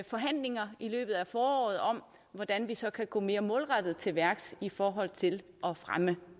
forhandlinger i løbet af foråret om hvordan vi så kan gå mere målrettet til værks i forhold til at fremme